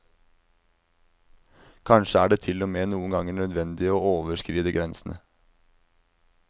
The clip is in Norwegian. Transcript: Kanskje er det til og med noen ganger nødvendig å overskride grensene.